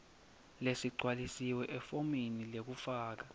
lesigcwalisiwe efomini lekufaka